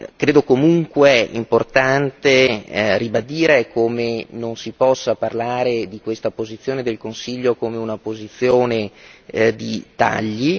Credo comunque importante ribadire come non si possa parlare di questa posizione del Consiglio come di una posizione di tagli.